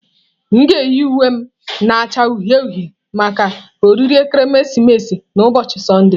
M ga-eyi uwe m na-acha uhie uhie maka oriri ekeresimesi n'ụbọchị Sọnde.